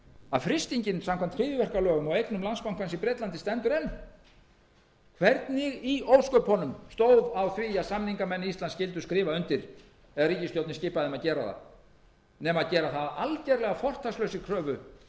að frystingin samkvæmt hryðjuverkalögum á eignum landsbankans í bretlandi stendur enn hvernig í ósköpunum stóð á því að samningamenn íslands skyldu skrifa undir eða ríkisstjórnin skipa þeim að gera það nema að gera það að algerlega fortakslausri kröfu